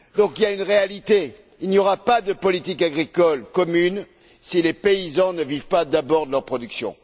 Donc il y a une réalité il n'y aura pas de politique agricole commune si les paysans ne vivent pas d'abord de leur production.